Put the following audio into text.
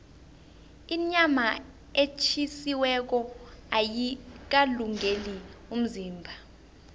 inyama etjhisiweko ayikalungeli umzimba